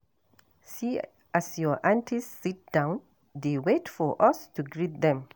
See as our aunties sit down dey wait for us to greet dem.